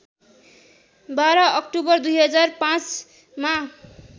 १२ October २००५ मा